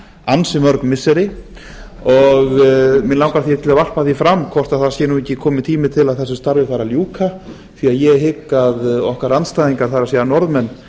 ansi mörg missiri mig langar því til að varpa því fram hvort það sé nú ekki kominn tími til að þessu starfi fari að ljúka því að ég hygg að okkar andstæðingar það er norðmenn